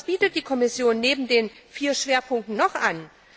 Aber was bietet die Kommission neben den vier Schwerpunkten noch an?